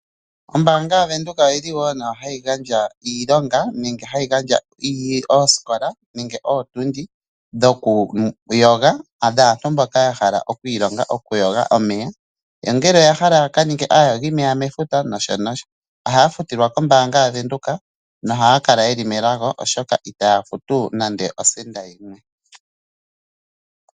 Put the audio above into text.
Oombaanga yaVenduka oyili wo nayo hayi gandja iilonga, nenge hayi gandja ootundi dhokuyoga, dhaantu mboka yahala okwiilonga okuyoga omeya. Yo ngele ya hala yakaninge aayogimeya mefuta noshotuu. Ohaya futilwa kombaanga yaVenduka, na ohaya kala yeli melago oshoka itaya futu nando osenda yimwe.